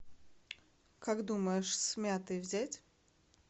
как думаешь с мятой взять